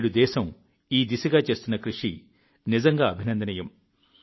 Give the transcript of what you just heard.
నేడు దేశం ఈ దిశగా చేస్తున్న కృషి నిజంగా అభినందనీయం